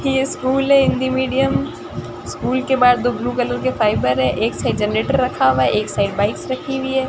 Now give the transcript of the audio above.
ये स्कूल है Hindi medium school के बाहर दो ब्लू कलर के फाइबर है एक साइड जनरेटर रखा हुआ है एक साइड बाइक्स रखी हुई है।